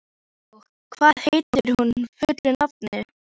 Hugó, hvað heitir þú fullu nafni?